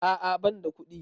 A'a banda kuɗi